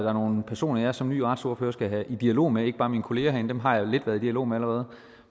er nogle personer jeg som ny retsordfører skal i dialog med ikke bare mine kollegaer herinde dem har jeg lidt været i dialog med allerede